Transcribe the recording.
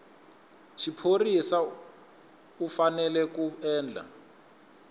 xiphorisa u fanele ku endla